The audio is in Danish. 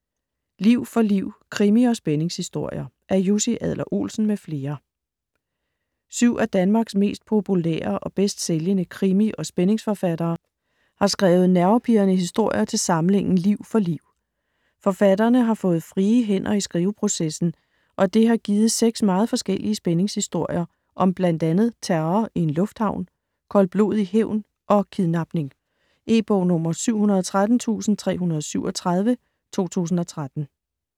Liv for liv: krimi- og spændingshistorier Af Jussi Adler-Olsen m.fl. Syv af Danmarks mest populære og bedst sælgende krimi- og spændingsforfattere har skrevet nervepirrende historier til samlingen Liv for liv. Forfatterne har fået frie hænder i skriveprocessen, og det har givet seks meget forskellige spændingshistorier om blandt andet terror i en lufthavn, koldblodig hævn og kidnapning. E-bog 713337 2013.